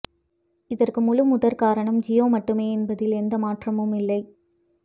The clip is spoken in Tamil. இதற்கு முழுமுதற்காரணம் ஜியோ மட்டுமே என்பதில் எந்த மாற்றமும் இல்லை